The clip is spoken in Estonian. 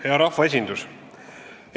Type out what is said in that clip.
Hea rahvaesindus!